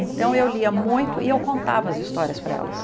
Então eu lia muito e eu contava as histórias para elas.